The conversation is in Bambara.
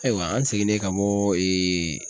Ayiwa an seginnen ka bɔ